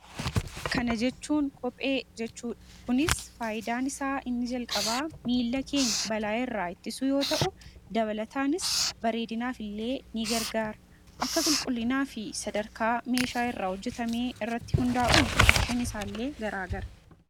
Suuraa kanaa gadii irraa kan mul'atu kophedha. Kunis kopheen faayidaan isaa inni jalqabaa miilla keenya balaa irraa eeguuf kan ooluu dha. Dabalataan miidhaginaaf kan oolu ta'ee akkaataa meeshaa irraa hojjetame irratti hundaa'uun gatiin isaas addaa addaa dha.